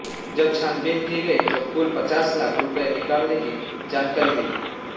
जब छानबीन की गई तो कुल पचास लाख रुपये निकालने की जानकारी मिली